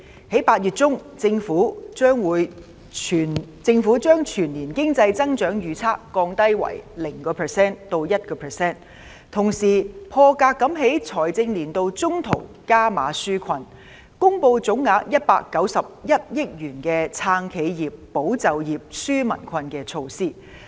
在8月中，政府將全年經濟增長預測降低為 0% 至 1%， 同時"破格"在財政年度中途加碼紓困，公布總額191億元的"撐企業、保就業、紓民困"的措施。